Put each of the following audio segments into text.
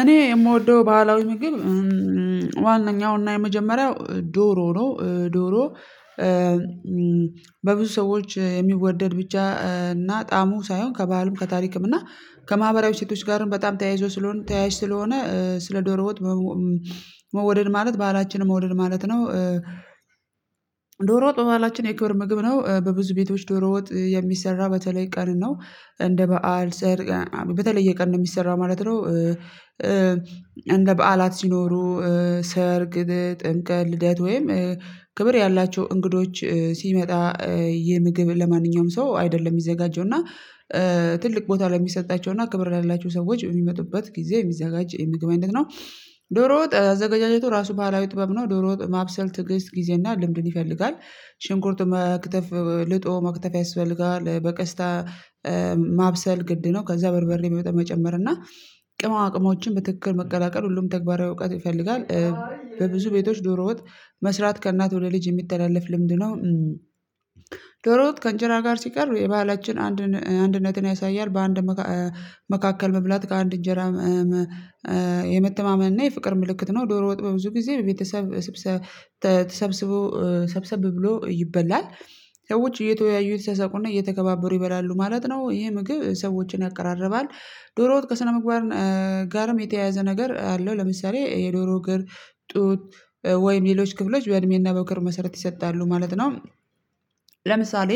እኔ የምወደው ባህላዊ ምግብ ዋነኛውና የመጀመሪያው ዶሮ ነው። ዶሮ በብዙ ሰዎች የሚወደድ ብቻ እና ጣሙ ሳይሆን ከባህልም ከታሪክም እና ከማህበራዊ ሴቶች ጋርም በጣም ተያይዞ ስለሆነ ተያያዥ ስለሆነ ስለ ዶሮ ዎጥ መውደድ ማለት ባህላችን መውደድ ማለት ነው። ዶሮ ወጥ በባህላችን የክብር ምግብ ነው በብዙ ቤቶች ዶሮ ወጥ የሚሰራ በተለይ ቀን ነው እንደ በዓል ሰርግ በተለየ ቀን ነው የሚሰራ ማለት ነው። እንደ በዓላት ሲኖሩ ሰርግ ጥምቀት ልደት ወይም ክብር ያላቸው እንግዶች ሲመጣ የምግብ ለማንኛውም ሰው አይደለም የሚዘጋጀው እና ትልቅ ቦታ ለ የሚሰጣቸው እና ክብር ላላቸው ሰዎች የሚመጡበት ጊዜ የሚዘጋጅ የምግብ አይነት ነው። ዶሮ ወጥ አዘገጃጀቱ ራሱ ባህላዊ ጥበብ ነው ዶሮ ወጥ ማብሰል ትግስት ጊዜ እና ልምድን ይፈልጋል። ሽንኩርት መክተፍ ልጦ መክተፍ ያስፈልጋል በቀስታ ማብሰል ግድ ነው። ከዛ በርበሬ በመጠን መጨመር እና ቅመማ ቅሞችን በትክክል መቀላቀል ሁሉም ተግባራዊ እውቀት ይፈልጋል። በብዙ ቤቶች ዶሮ ወጥ መስራት ከእናት ወደ ልጅ የሚተላለፍ ልምድ ነው። ዶሮዎጥ ከእንጀራ ጋር ሲቀርብ የባህላችን አንድ ን አንድነትን ያሳያል በአንድ መካከል መብላት ከአንድ እንጀራ የመተማመን እና የፍቅር ምልክት ነው። ዶሮ ወጥ በብዙ ጊዜ በቤተሰብ ስብሰ ተ ተሰብስቦ ሰብሰብ ብሎ ይበላል ሰዎች እየተወያዩ እየተሳሳቁና እየተከባበሩ ይበላሉ ማለት ነው። ይሄ ምግብ ሰዎችን ያቀራርባል ዶሮ ወጥ ከስነምግባር ጋርም የተያያዘ ነገር አለው። ለምሳሌ የዶሮ እግር ጡት ወይም ሌሎች ክፍሎች በእድሜና በምክር መሰረት ይሰጣሉ ማለት ነው። ለምሳሌ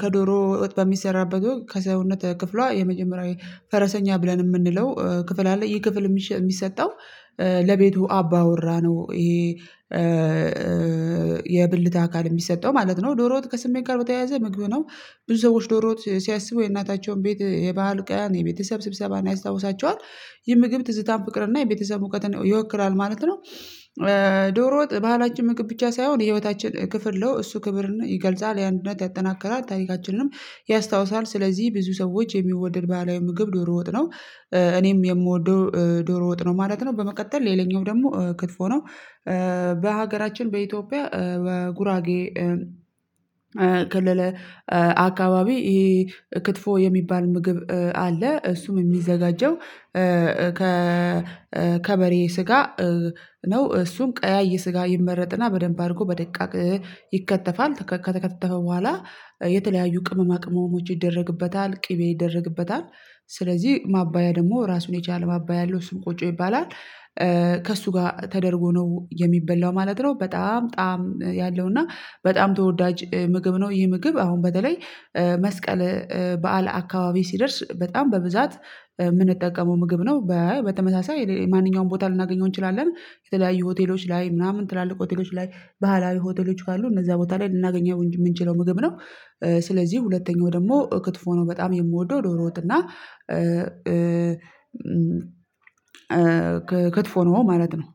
ከዶሮ እውጥ በሚሰራበት ከሰውነት ክፍሏ የመጀመሪያ ፈረሰኛ ብለን የምንለው ክፍል አለ ይህ ክፍል የሚሸ የሚሰጠው ለቤቱ አባውራ ነው። ይሄ የብልት አካል የሚሰጠው ማለት ነው ዶሮወጥ ከስሜት ጋር በተያያዘ ምግብ ነው። ብዙ ሰዎች ዶሮ ወጥ ሲያስቡ የእናታቸውን ቤት የባህል ቀን የቤተሰብ ስብሰባን ያስታውሳቸዋል የምግብ ትዝታን ፍቅር እና የቤተሰብ እውቀት ይወክላል ማለት ነው። ዶሮ ወጥ ባህላችን ምግብ ብቻ ሳይሆን የህይወታችን ክፍል ነው እሱ ክብርን ይገልጻል ያን ድነት ያጠናከራል ታሪካችንንም ያስታውሳል ስለዚህ ብዙ ሰዎች የሚወድድ ባህላዊ ምግብ ዶሮ ወጥ ነው። እኔም የምወደው ዶሮ ወጥ ነው ማለት ነው። በመቀጠል ሌላኛው ደግሞ ክትፎ ነው። በሀገራችን በኢትዮጵያ በጉራጌ ክልል አካባቢ ይሄ ክትፎ የሚባል ምግብ አለ እሱም የሚዘጋጀው ከከበሬ ስጋ ነው። እሱም ቀያይ ስጋ ይመረጥና በደንብ አድርጎ በደቃቅ ይከተፋል ተከተከተፈ በኋላ የተለያዩ ቅመማቅ መሞች ይደረግበታል ቅቤ ይደረግበታል ስለዚህ ማባያ ደግሞ ራሱን የቻለ ማባያ ያለው እሱም ቆጮ ይባላል። ከእሱ ጋር ተደርጎ ነው የሚበላው ማለት ነው። በጣም ጣዕም ያለው እና በጣም ተወዳጅ ምግብ ነው። ይሄ ምግብ አሁን በተለይ መስቀል በዓለ አካባቢ ሲደርስ በጣም በብዛት የምንጠቀመው ምግብ ነው። በበተመሳሳይ ማንኛውም ቦታ ልናገኘው እንችላለን የተለያዩ ሆቴሎች ላይ ምናምን ትላልቅ ሆቴሎች ላይ ባህላዊ ሆቴሎች ካሉ እነዛ ቦታ ላይ ልናገኘው የምንችለው ምግብ ነው። ስለዚህ ሁለተኛው ደግሞ ክትፎ ነው በጣም የምወደው ዶሮ ወጥና ክትፎ ነው ማለት ነው።